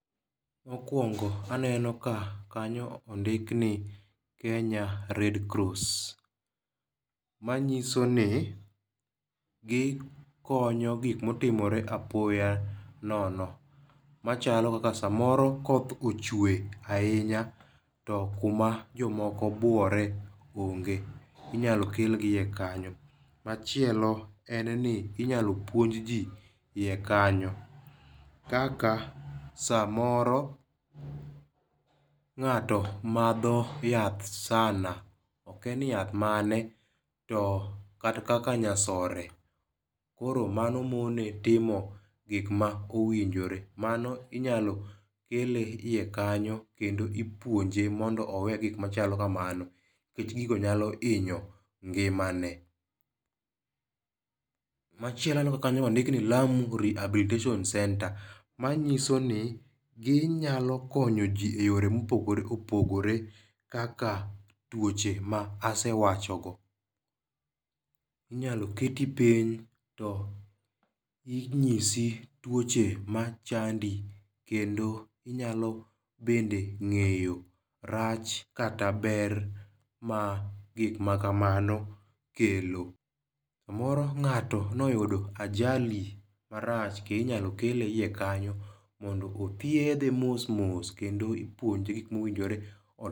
Mokwongo aneno ka kanyo ondik ni Kenya Red Cross. Manyiso ni gikonyo gikmotimore apoya nono. Machalo kaka samoro koth ochwe ahinya to kuma jomoko buore onge. Inyalo kelgi iye kanyo. Machielo en ni inyalo puonj ji yie kanyo kaka samoro ng'ato madho yath sana okia ni yath mane to kata kaka nyasore koro mano mone timo gik ma owinjore. Mano inyalo kele yie kanyo kendo ipuonje mondo owe gik machalo kamano. Nikech gigo nyalo inyo ngima ne. Machielo aneno ka kanyo be ondiki ni Lamu Rehabilitation Center. Manyiso ni ginyalo konyo ji e yore mopogore opogore kaka tuoche ma asewacho go. Inyalo keti piny to inyisi tuoche machandi kendo inyalo bende ng'eyo rach kata ber ma gik makamano kelo. Samoro ng'ato noyudo ajali marach be inyalo kele iye kanyo mondo othiedhe mos mos kendo ipuonje gik mowinjore otim.